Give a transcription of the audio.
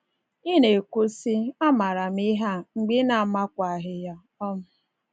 “Ị na-ekwu sị, ‘A maara m ihe a,’ mgbe ị na-amakwaghị ya. um